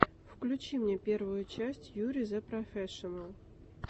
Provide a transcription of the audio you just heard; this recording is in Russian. включи мне первую часть юри зэ профэшинал